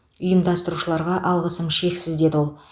ұйымдастырушыларға алғысым шексіз деді ол